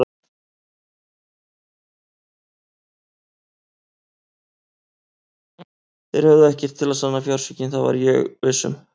Þeir höfðu ekkert til að sanna fjársvikin, það var ég viss um.